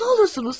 Nə olursunuz?